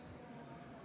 Peeter Ernits, palun!